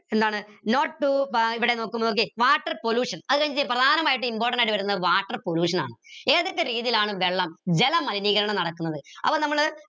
എന്താണ് ഇവിടെ നോക്കിയെ water pollution അത് കഴിഞ്ഞിട്ട് പ്രധാനമായിട്ട് important ആയിട്ട് വരുന്നത് water pollution ആണ് ഏതൊക്കെ രീതിയിലാണ് വെള്ളം ജലമലിനീകരണം നടക്കുന്നത് അപ്പോ നമ്മൾ